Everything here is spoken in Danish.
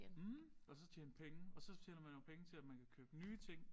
Mh og så tjene penge og så tjener man jo penge til at man kan købe nye ting